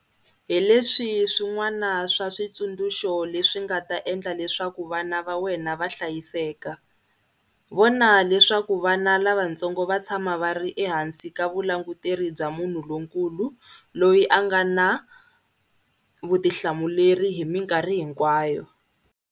Hi leswi swin'wana swa switsundzuxo leswi nga ta endla leswaku vana va wena va hlayiseka- Vona leswaku vana lavatsongo va tshama va ri ehansi ka vulanguteri bya munhu lonkulu loyi a nga na vutihlamuleri hi mikarhi hinkwayo.